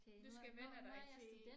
Du skal vænne dig til